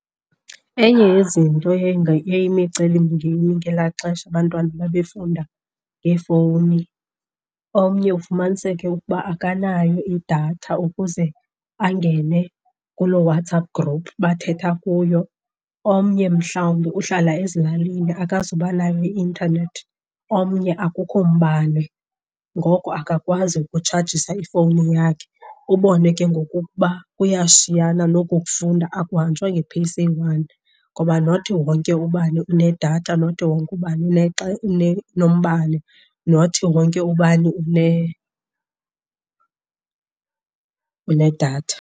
Enye yezinto yayimicelimngeni ngelaa xesha abantwana babefunda ngeefowuni, omnye ufumaniseke ukuba akanayo idatha ukuze angene kuloo WhatsApp group bathetha kuyo. Omnye mhlawumbi uhlala ezilalini akazuba nayo i-intanethi, omnye akukho mbane ngoko akakwazi ukutshajisa ifowuni yakhe. Ubone ke ngoku ukuba kuyashiyana nokokufunda, akuhanjwa nge-pace eyi-one ngoba not wonke ubani unedatha, not wonke ubani unombane, not wonke ubani unedatha.